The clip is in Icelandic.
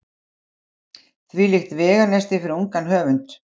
Þvílíkt veganesti fyrir ungan höfund.